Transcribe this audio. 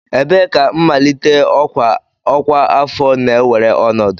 Ebee ka mmalite ọkwa ọkwa afọ na-ewere ọnọdụ?